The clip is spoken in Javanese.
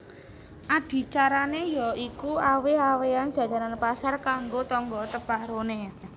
Adicarané ya iku awèh awèhan jajanan pasar kanggo tangga teparoné